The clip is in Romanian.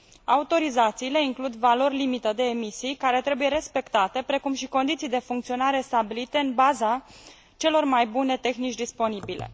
Autorizațiile includ valori limită de emisii care trebuie respectate, precum și condiții de funcționare stabilite în baza celor mai bune tehnici disponibile.